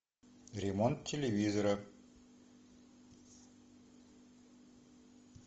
ремонт телевизора